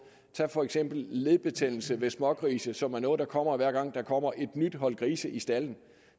tag for eksempel ledbetændelse hos smågrise som er noget der kommer hver gang der kommer et nyt hold grise i stalden